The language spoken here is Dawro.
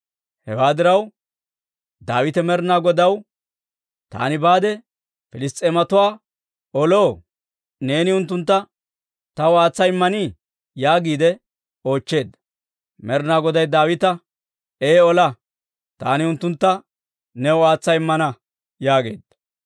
Hewaa diraw, Daawite Med'inaa Godaw, «Taani baade Piliss's'eematuwaa oloo? Neeni unttuntta taw aatsa immanii?» yaagiide oochcheedda. Med'inaa Goday Daawita, «Ee ola. Taani unttuntta new aatsa immana» yaageedda.